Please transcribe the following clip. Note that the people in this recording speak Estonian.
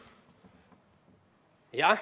Jah.